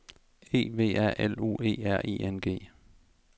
E V A L U E R I N G